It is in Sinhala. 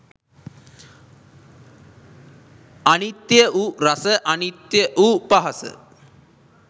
අනිත්‍ය වූ රස අනිත්‍ය වූ පහස